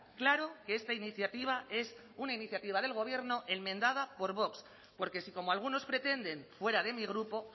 claro que esta iniciativa es una iniciativa del gobierno enmendada por vox porque si como algunos pretenden fuera de mi grupo